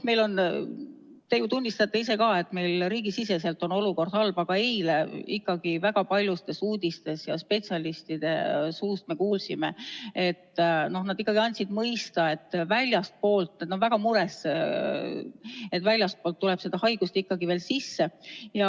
Te ju tunnistate ise ka, et meil riigisiseselt on olukord halb, aga eile me kuulsime väga paljudest uudistest ja spetsialistid andsid mõista, et nad on väga mures, et väljastpoolt tuleb seda haigust ikkagi veel sisse.